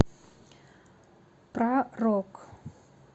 про рок